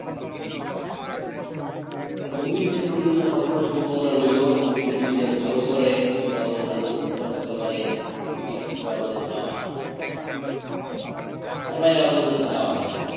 তো movie industry র জন্য সবসময় শুভ কামনা রইলো movie industry যেন ভালো করে এবং আমাদের ভালো কিছু উপহার দিতে পারে সেটি সবসময় আমাদের চাওয়া তার বাইরে আমাদের কোনো চাওয়া নাই